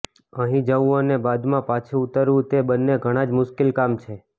અહીં જવુ અને બાદમાં પાછુ ઉતરવુ તે બંને ઘણા જ મુશ્કેલ કામ છે